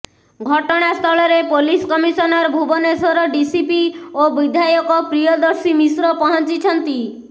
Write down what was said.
ଘଟଣାସ୍ଥଳରେ police commissioner Bhubaneswar DCP ଓ ବିଧାୟକ ପ୍ରିୟଦର୍ଶୀ ମିଶ୍ର ପହଞ୍ଚିଛନ୍ତି